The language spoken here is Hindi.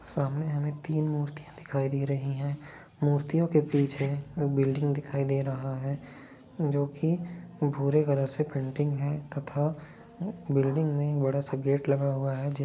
सामने हमे तीन मूर्तियां दिखाई दे रही हैं। मूर्तियों के पीछे वो बिल्डिंग दिखाई दे रहा है जो की वो भूरे कलर से पेंटिंग है तथा बिल्डिंग मैं बड़ा सा गेट लगा हुआ है ज--